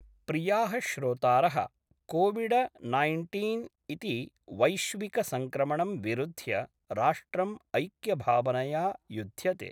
प्रियाः श्रोतारः COVID nineteen इति वैश्विक संक्रमणं विरुध्य राष्ट्रं ऐक्यभावनया युध्यते।